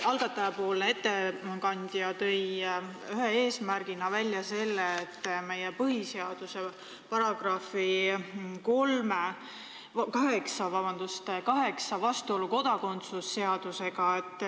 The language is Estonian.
Algatajapoolne ettekandja tõi eelnõu ühe eesmärgina välja meie põhiseaduse § 8 vastuolu kodakondsuse seadusega.